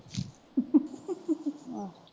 ਆਹ।